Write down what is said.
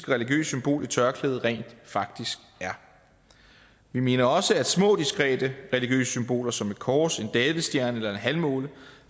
religiøst symbol et tørklæde rent faktisk er vi mener også at små diskrete religiøse symboler som et kors en davidsstjerne eller en halvmåne